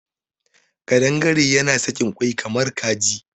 Ƙadangare yana sakin kwai kamar Kaji.